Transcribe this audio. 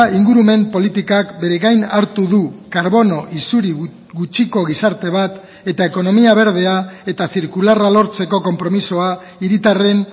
ingurumen politikak bere gain hartu du karbono isuri gutxiko gizarte bat eta ekonomia berdea eta zirkularra lortzeko konpromisoa hiritarren